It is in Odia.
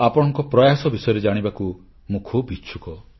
ଆପଣଙ୍କ ପ୍ରୟାସ ବିଷୟରେ ଜାଣିବାକୁ ମୁଁ ଖୁବ୍ ଇଚ୍ଛୁକ